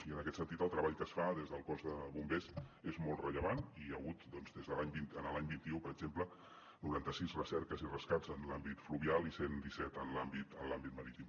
i en aquest sentit el treball que es fa des del cos de bombers és molt rellevant i hi ha hagut doncs l’any vint un per exemple noranta sis recerques i rescats en l’àmbit fluvial i cent disset en l’àmbit marítim